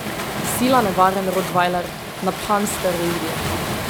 Sila nevaren rotvajler, naphan s steroidi.